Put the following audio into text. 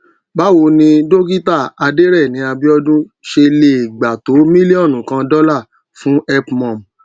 báwo ni dókítà adéreni abíódún ṣe lè gba tó miliọnu kan dọlà fún helpmum